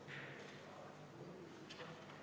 Kuidas nende võimalustega on?